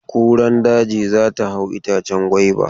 Kuran daji za ta hau itacen gwaiba.